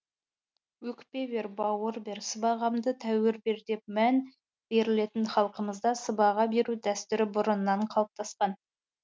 өкпе бер бауыр бер сыбағамды тәуір бер деп мән берілетін халқымызда сыбаға беру дәстүрі бұрыннан қалыптасқан